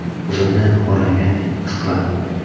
O‘zimni xo‘rlangandek his qilardim.